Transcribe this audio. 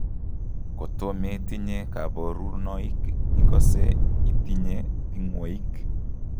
Koto metinye kaborunoik ikosee itinye ting'woik